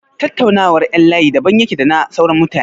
Tattaunawar ƴan layi daban yake da na sauran mutane.